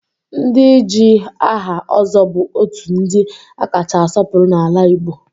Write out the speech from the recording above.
Ndị ji aha Ozo bụ otu ndị a kacha asọpụrụ n'ala Igbo